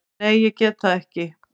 Nei, ég get það ekki.